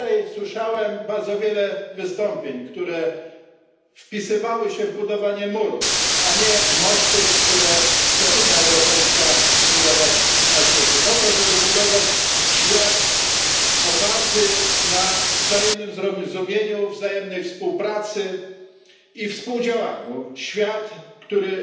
Słyszałem tutaj bardzo wiele wystąpień wpisujących się w budowanie murów, a nie mostów, jakie Unia Europejska chce budować na świecie po to, żeby tworzyć świat oparty na wzajemnym zrozumieniu, wzajemnej współpracy i współdziałaniu, świat, który